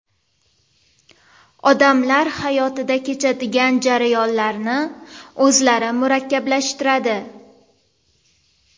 Odamlar hayotida kechadigan jarayonlarni o‘zlari murakkablashtiradi.